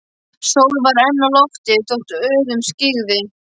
Sól var enn á lofti þótt óðum skyggði.